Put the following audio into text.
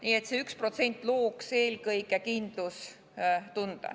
Nii et see üks protsent looks eelkõige kindlustunde.